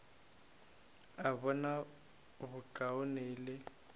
a bona bokaone e le